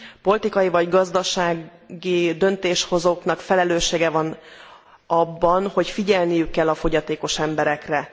Politikai vagy gazdasági döntéshozóknak felelőssége van abban, hogy figyelniük kell a fogyatékos emberekre.